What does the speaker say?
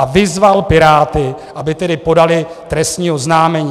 A vyzval Piráty, aby tedy podali trestní oznámení.